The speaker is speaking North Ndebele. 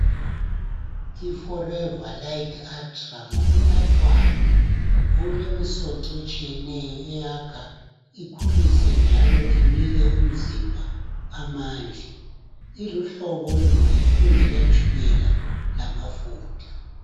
IForever lite utra ngokunathwayo, okulemisoco etshiyeneyo eyakha ,ikhulise, njalo inike umzimba amandla. Iluhlobo oluhle olungela tshukela lamafutha.